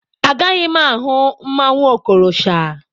Agaghị m ahụ mmanwụ Okorosha.